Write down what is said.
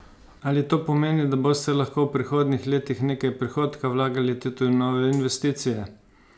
Ali to pomeni, da boste lahko v prihodnjih letih nekaj prihodka vlagali tudi v nove investicije?